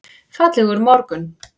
Fallegur morgun!